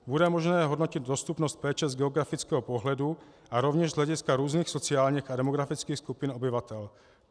Bude možné hodnotit dostupnost péče z geografického pohledu a rovněž z hlediska různých sociálních a demografických skupin obyvatel.